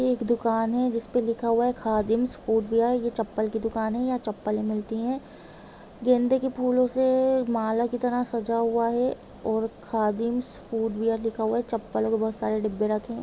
ये एक दुकान है जिसमे लिखा हुआ है खदिमस फूड यह ये चप्पल कि दुकान है यहा चपपले मिलती है गेंदे कि फूलों से माला कि तरह सजा हुआ है ऑर खदिमस फूड यह लिखा हुआ है चप्पलों कि बहुत सारे डिब्बे रखे हुए है।